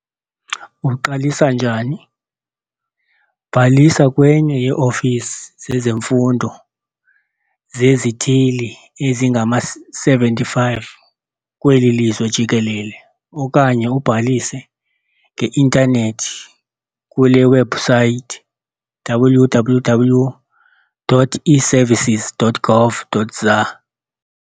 Uqalisa njani? Bhalisa kwenye yee-ofisi zezemfundo zezithili ezingama-75 kweli lizwe jikelele okanye ubhalise nge-intanethi kule webhusaythi- www.eservices.gov.za .